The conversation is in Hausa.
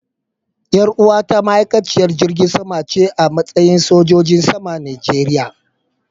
Yar uwata ma'aikaciyar jirgin sama ce a matsayi sojojin saman Najeriya.